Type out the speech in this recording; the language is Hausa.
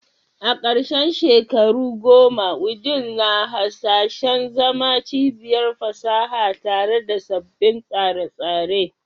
A karshen shekaru goma, Wudil na hasashen zama cibiyar fasaha tare da sabbin tsare-tsare